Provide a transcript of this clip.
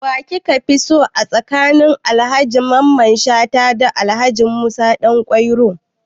Wa kika fi so tsakanin Alhaji Mamman Shata da Alhaji Musa Ɗanƙwairo?